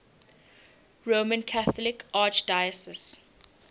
roman catholic archdiocese